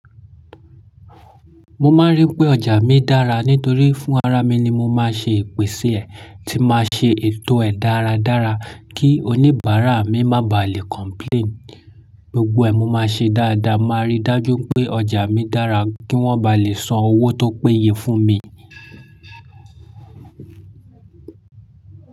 Mo máa n rí wipé ọjà mi dára nítorí fún ara mi ni mo máa ṣe ipese è, tí máa ṣe ètò ẹ̀ dáradára kí oníbàárà mi má baà lè complain. Gbogbo ẹ̀ mó máa ṣe dáadáa, máa rí dájú pé ọjà mi dára kí wọ́n bá lè san owó tó péye fún mi.